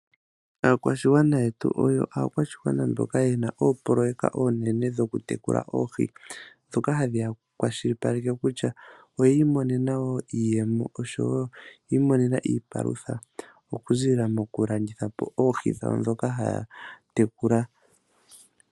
Aakwashigwana yetu oyo aakwashigwana mboka yena oopoloyeka oonene dhoku tekula oohi ndhoka hadhiya kwashipaleke kutya oyiimonena iiyemo yawo nenge iipalutha muku zilila mokulandithapo oohi ndhoka taatekula.